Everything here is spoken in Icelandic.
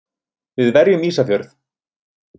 Við verjum Ísafjörð!